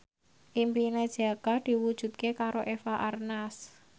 impine Jaka diwujudke karo Eva Arnaz